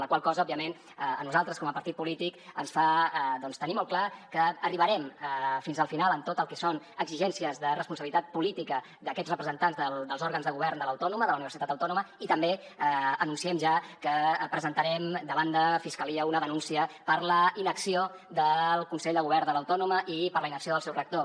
la qual cosa òbviament a nosaltres com a partit polític ens fa tenir molt clar que arribarem fins al final en tot el que són exigències de responsabilitat política d’aquests representants dels òrgans de govern de l’autònoma de la universitat autònoma i també anunciem ja que presentarem davant de fiscalia una denúncia per la inacció del consell de govern de l’autònoma i per la inacció del seu rector